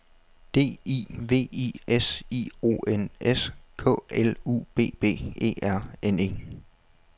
D I V I S I O N S K L U B B E R N E